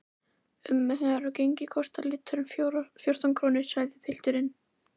Umreiknað á gengi kostar lítrinn fjórtán krónur, sagði pilturinn.